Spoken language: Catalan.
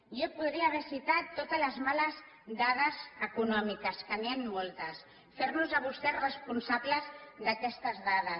jo podria haver citat totes les males dades econòmiques que n’hi han moltes fer los a vostès responsables d’aquestes dades